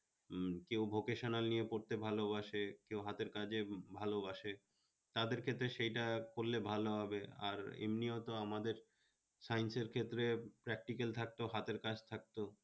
কেউ vocational নিয়ে পড়তে ভালোবাসে কেউ হাতের কাজে ভালোবাসে তাদের ক্ষেত্রে সেইটা করলে ভালো হবে আর এমনিও তো আমাদের science এর ক্ষেত্রে particle থাকতো হাতের কাজ থাকত